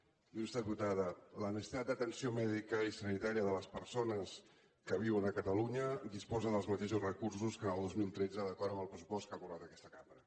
il·lustre diputada la necessitat d’atenció mèdica i sanitària de les persones que viuen a catalunya disposa dels mateixos recursos que el dos mil tretze d’acord amb el pressupost que ha aprovat aquesta cambra